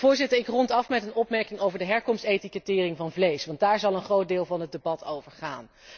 op. Voorzitter, ik rond af met een opmerking over de herkomstetikettering van vlees, want daar zal een groot deel van het debat over gaan.